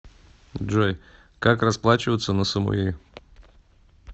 джой как расплачиваться на самуи